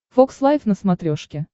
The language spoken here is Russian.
фокс лайв на смотрешке